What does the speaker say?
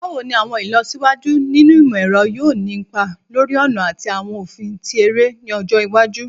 Báwo ni àwọn ìlọsíwájú nínú ìmọ̀-ẹ̀rọ yóò ni ipa lórí ọ̀nà ati awọn ofin ti ere ni ọjọ iwaju?